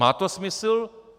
Má to smysl?